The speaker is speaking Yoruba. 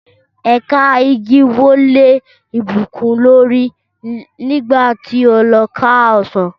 Ẹ̀ka igi wó lé Ìbùkún lórí nígbà tí ó lọ ká ọsàn